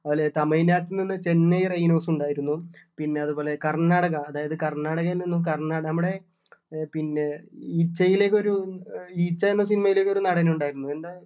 അതുപോലെ തന്നെ തമിഴ്‌നാട്ടിൽ നിന്ന് ചെന്നൈ rhinos ഉണ്ടായിരുന്നു പിന്നെ അതുപോലെ കർണാടക അതായത് കർണാടകയിൽ നിന്ന് കർണാ നമ്മുടെ ആഹ് പിന്നെ ഈച്ചയിലൊക്കെ ഒരു ഈച്ച എന്ന cinema യിലൊക്കെ ഒരു നടൻ ഉണ്ടായിരുന്നു എന്താ